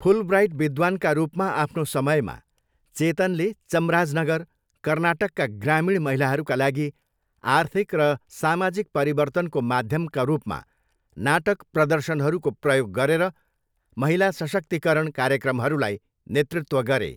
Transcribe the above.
Fulbright विद्वानका रूपमा आफ्नो समयमा, चेतनले चम्राजनगर, कर्नाटकका ग्रामीण महिलाहरूका लागि आर्थिक र सामाजिक परिवर्तनको माध्यमका रूपमा नाटक प्रदर्शनहरूको प्रयोग गरेर महिला सशक्तीकरण कार्यक्रमहरूलाई नेतृत्व गरे।